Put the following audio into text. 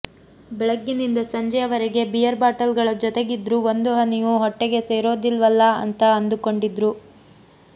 ಬೆಳಗ್ಗಿನಿಂದ ಸಂಜೆಯವರೆಗೆ beer bottle ಗಳ ಜೊತೆಗಿದ್ರು ಒಂದು ಹನಿಯು ಹೊಟ್ಟೆಗೆ ಸೇರೋದಿಲ್ವಲ್ಲಾ ಅಂತ ಅಂದುಕೊಂಡಿದ್ರು